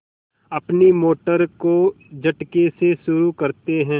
अपनी मोटर को झटके से शुरू करते हैं